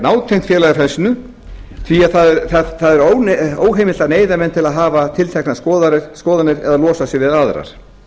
nátengt félagafrelsinu því það er óheimilt að neyða menn til að hafa tilteknar skoðanir eða losa sig við aðrar